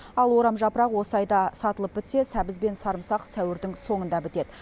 ал орамжапырақ осы айда сатылып бітсе сәбіз бен сарымсақ сәуірдің соңында бітеді